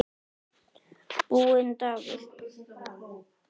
Búinn dagur.